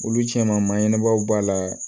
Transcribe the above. Olu cɛnman ɲɛnɛmaw b'a la